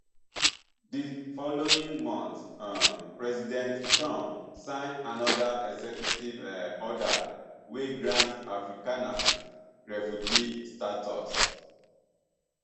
di following month um president trump sign anoda executive um order wey grant afrikaners refugee status